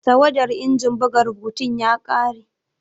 Tawadar injin buga rubutun ya kare.